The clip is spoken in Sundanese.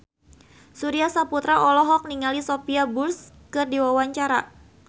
Surya Saputra olohok ningali Sophia Bush keur diwawancara